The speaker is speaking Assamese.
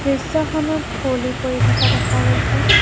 দৃশ্যখনত কুঁৱলী পৰি থকা দেখা গৈছে।